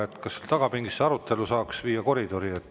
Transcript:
Kas saaks sealt tagumisest pingist selle arutelu viia üle koridori?